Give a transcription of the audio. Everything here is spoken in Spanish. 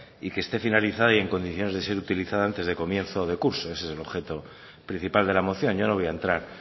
y que esté finalizada y en condiciones de ser utilizada antes de comienzo de curso ese es el objeto principal de la moción yo no voy a entrar